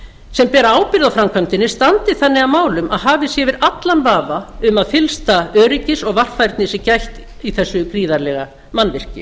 sem bera ábyrgð á framkvæmdinni standi þannig að málum að hafið sé yfir allan vafa um að fyllsta öryggis og varfærni sé gætt í þessa gríðarlega mannvirki